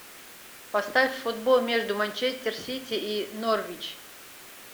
поставь футбол между манчестер сити и норвич